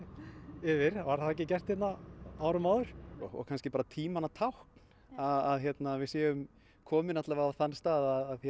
yfir var það ekki gert á árum áður kannski bara tímanna tákn að við séum komin á þann stað að